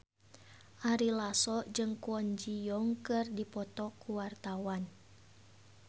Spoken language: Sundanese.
Ari Lasso jeung Kwon Ji Yong keur dipoto ku wartawan